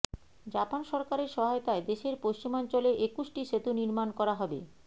Japan সরকারের সহায়তায় দেশের পশ্চিমাঞ্চলে একুশটি সেতু নির্মাণ করা হবে